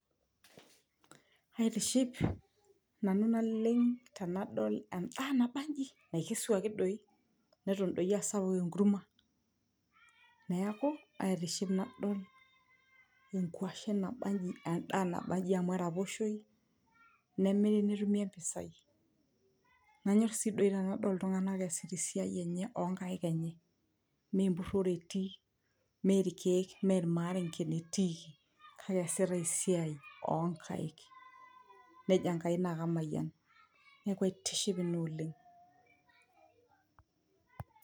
aitiship nanu naleng tenadol endaa nabanji naikesuaki doi neton doi asapuk enkurma neeku aitiship nadol enkuashe nabanji amu eraposhoi nemiri netumi empisai nanyorr sii doi tenadol iltung'anak eesita esiai enye onkaik enye mee empurrore etii mee irkeek mee irmarengen eti kake eesita esiai onkaik nejo Enkai naa kamayian neku aitiship ina oleng.